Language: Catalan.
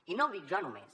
i no ho dic jo només